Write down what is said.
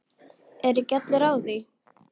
Ekki eru allir á því.